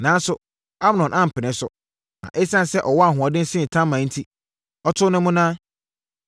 Nanso, Amnon ampene so. Na ɛsiane sɛ ɔwɔ ahoɔden sene Tamar enti, ɔtoo no monnaa.